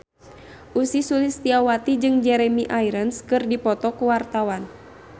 Ussy Sulistyawati jeung Jeremy Irons keur dipoto ku wartawan